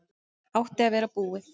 Átti að vera búið